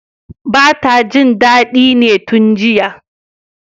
bata jin dadi ne tun jiya